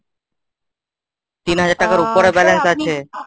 তিন হাজার টাকার উপরে balance আছে